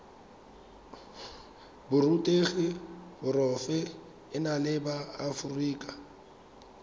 borutegi porofe enale ba aforika